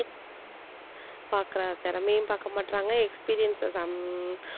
பாக்குற திறமையும் பாக்க மாட்றாங்க experience some